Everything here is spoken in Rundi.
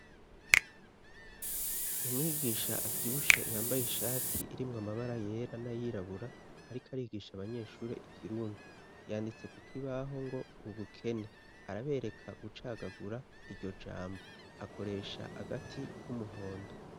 Umwigisha avyibushe yambaye ishati irimwo amabara yera n'ayirabura, ariko arigisha abanyeshuri ikirundi, yanditse ku kibaho ngo: ubukene, arabereka gucagagura iryo jambo akoresha agati k'umuhondo.